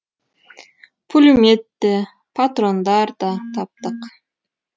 пулемет те патрондар да таптық